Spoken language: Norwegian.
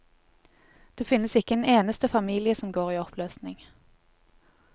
Det finnes ikke en eneste familie som går i oppløsning.